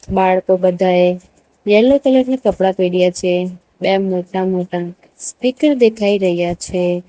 બાળકો બધાએ yellow colour ના કપડા પહેર્યા છે બે મોટા મોટા સ્પીકર દેખાઈ રહ્યા છે.